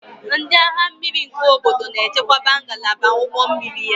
Ndị agha mmiri nke obodo na-echekwaba ngalaba ụgbọ mmiri ya